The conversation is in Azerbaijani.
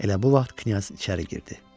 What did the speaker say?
Elə bu vaxt knyaz içəri girdi.